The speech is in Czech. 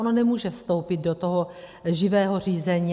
Ono nemůže vstoupit do toho živého řízení.